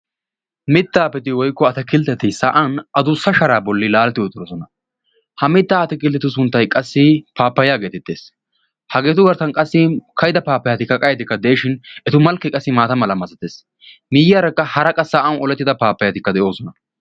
Mitta ayfeti woykko atakiltteti sa'an adussa sharaa bollan laaletti uttidosona. Ha mitta atakilttetu sunttay qassi paappayaa geetettees. Hageetu garssan qassi ka'ida nne qayye paappayati de'ishin, etu malkkeekka qassi maata mala masatees. Miyyiyaarakka qassi hara qa sa'an olettida paappayatikka de'oosona.